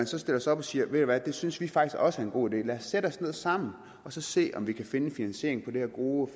så stiller sig op og siger ved i hvad det synes vi faktisk også er en god idé lad os sætte os ned sammen og se om vi kan finde en finansiering på det her gode